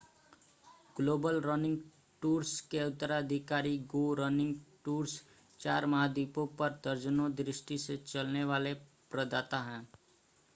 global running tours के उत्तराधिकारी go running tours चार महाद्वीपों पर दर्जनों दृष्टि से चलने वाले प्रदाता हैं